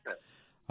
আজ্ঞে হ্যাঁ